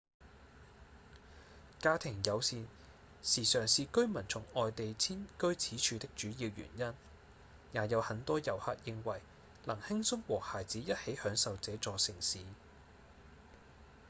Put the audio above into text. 家庭友善時常是居民從外地遷居此處的主要原因也有很多遊客認為能輕鬆和孩子一起享受這座城市